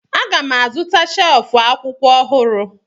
Aga m azụta shelf akwụkwọ ọhụrụ